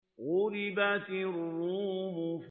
غُلِبَتِ الرُّومُ